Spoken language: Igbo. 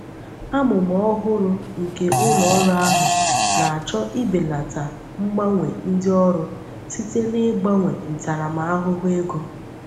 Amụma ọhụrụ nke ụlọ ọrụ ahụ na-achọ ibelata ngbanwe ndị ọrụ site n'ịgbanwe ntaramahụhụ ego.